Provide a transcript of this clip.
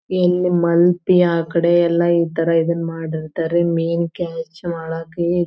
ಮಲ್ಪೆ ಆ ಕಡೆ ಎಲ್ಲ ಈ ತರ ಇದನ್ನ ಮಾಡಿರ್ತಾರೆ ಮೀನ್ ಕ್ಯಾಚ್ ಮಾಡಾಕ ಈ--